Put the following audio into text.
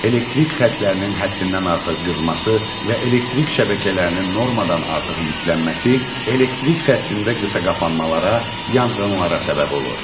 Elektrik xətlərinin həddindən artıq qızması və elektrik şəbəkələrinin normadan artıq yüklənməsi elektrik xəttində qısaqapanmalara, yanğınlara səbəb olur.